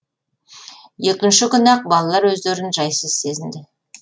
екінші күні ақ балалар өздерін жайсыз сезінді